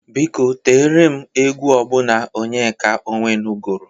Biko tiere m egwu ọbụna Onyeka Ọnwenu gụrụ!